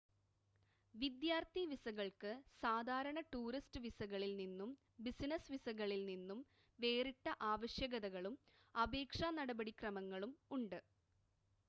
വിദ്യാർത്ഥി വിസകൾക്ക് സാധാരണ ടൂറിസ്റ്റ് വിസകളിൽ നിന്നും ബിസിനസ് വിസകളിൽ നിന്നും വേറിട്ട ആവശ്യകതകളും അപേക്ഷാ നടപടിക്രമങ്ങളും ഉണ്ട്